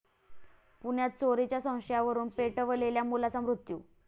पुण्यात चोरीच्या संशयावरुन पेटवलेल्या मुलाचा मृत्यू